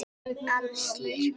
Alsír